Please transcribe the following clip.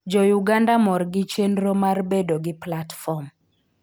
Jo-Uganda mor gi chenro mar bedo gi platform.